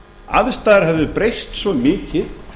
aðstæður hefðu breyst svo mikið